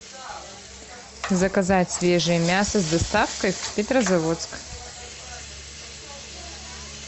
заказать свежее мясо с доставкой петрозаводск